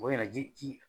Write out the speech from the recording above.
O yɛrɛ ji